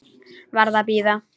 Varð að bíða.